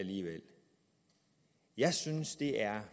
jeg synes det er